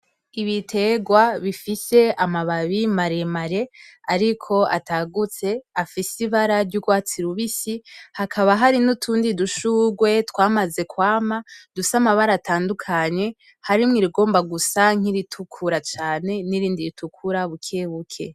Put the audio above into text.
Ibiterwa bifise amababi maremare ariko atagutse, afise ibara ry'urwatsi rubisi hakaba hari n'utundi dushurwe twamaze kwama dufise amabara atandukanye harimwo irigomba gusa nk'iritukura cane n'irindi ritukura buke buke.